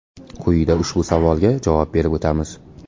Quyida ushbu savolga javob berib o‘tamiz.